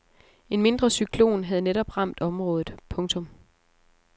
En mindre cyklon havde netop ramt området. punktum